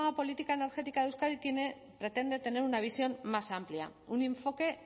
política energética de euskadi pretende tener una visión más amplia un enfoque